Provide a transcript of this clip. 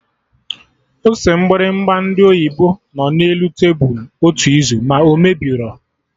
Ose mgbịrịgba ndị oyibo nọ na elu tebụl otu izu, ma o mebirọ